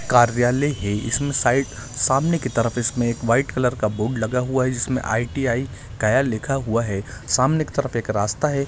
कार्यालय के इसमें साइड सामने की तरफ इसमें एक व्हाइट कलर का बोर्ड लगा हुआ है इसमे आई_ टी_आई कार्यालय लिखा हुआ है सामने की तरफ एक रास्ता है।